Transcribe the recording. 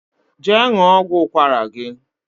je ṅụọ ọgwụ ụkwara gi